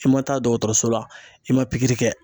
I ma taa dɔgɔtɔrɔso la, i ma pikiri kɛ.